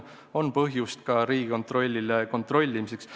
Aga seegi annab Riigikontrollile põhjust kontrollimiseks.